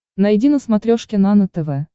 найди на смотрешке нано тв